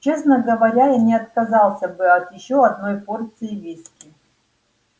честно говоря я не отказался бы от ещё одной порции виски